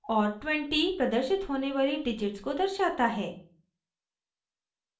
और 20 प्रदर्शित होने वाली डिजिट्स को दर्शाता है